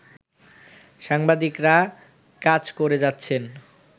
সাংবাদিকরা কাজ করে যাচ্ছেন